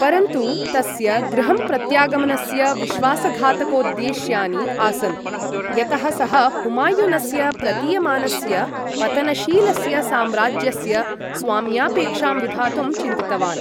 परन्तु तस्य गृहं प्रत्यागमनस्य विश्वासघातकोद्देश्यानि आसन् यतः सः हुमायुनस्य प्रतीयमानस्य पतनशीलस्य साम्राज्यस्य स्वाम्यापेक्षां विधातुं चिन्तितवान्।